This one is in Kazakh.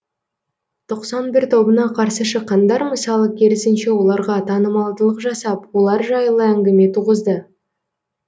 тоқсан бір тобына қарсы шыққандар мысалы керісінше оларға танымалдылық жасап олар жайлы әңгіме туғызды